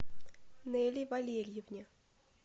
нелли валерьевне